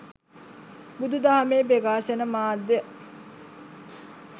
බුදුදහමේ ප්‍රකාශන මාධ්‍යය